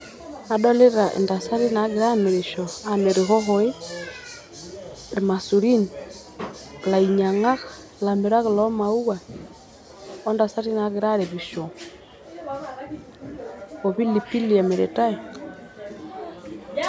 Adolita intasati nagira amirisho amir ihohoi ,irmaisurin ,inyainyangak ,ilamirak loo maua ontasati nagira aripisho opilipili emiritae